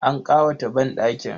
An ƙawata banɗakin.